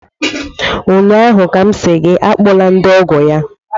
ụnyaahụ ka m sị gị akpọla ndị ọgọ ya!